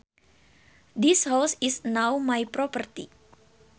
This house is now my property